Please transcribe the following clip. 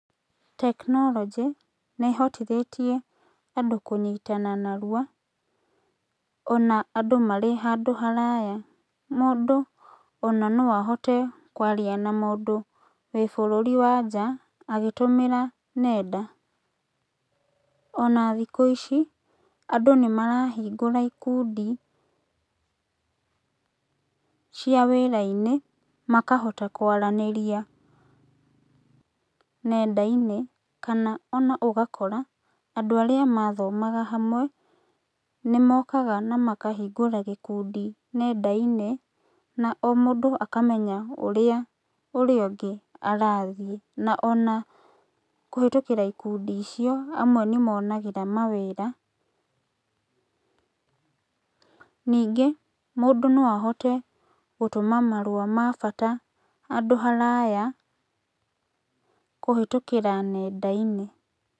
Tekinorojĩ, nĩhotithĩtie andũ kũnyitana narua, ona andũ marĩ handũ haraya, mũndũ ona no ahote kwaria na mũndũ wĩ bũrũri wa nja, agĩtũmĩra nenda. Ona thikũ ici, andũ nĩmarahingũra ikundi cia wĩrainĩ, makahota kwarĩnĩria nendainĩ, kana ona ũgakora, andũ arĩa mathomaga hamwe, nĩmokaga namakahingũra gĩkundi nendainĩ, na o mũndũ akamenya ũrĩa ũrĩa ũngĩ arathiĩ na ona kũhĩtũkĩra ikundi icio,, amwe nĩmonagĩra mawĩra, ningĩ, mũndũ no ahote gũtũma marũa ma bata handũ haraya, kũhĩtũkĩra nendainĩ.